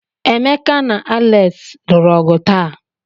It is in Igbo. Emeka na Alex lụrụ ọgụ taa.